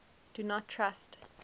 do not trust